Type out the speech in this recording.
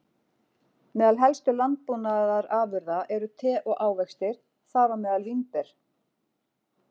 Meðal helstu landbúnaðarafurða eru te og ávextir, þar á meðal vínber.